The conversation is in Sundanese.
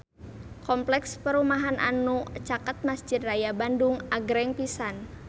Kompleks perumahan anu caket Mesjid Raya Bandung agreng pisan